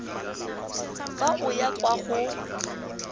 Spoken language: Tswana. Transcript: fa o ya kwa go